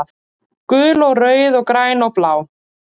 Gul og rauð og græn og blá